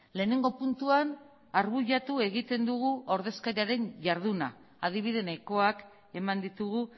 lehenengo puntuan arbuiatu egiten dugu ordezkariaren jarduna adibide nahikoak eman ditugu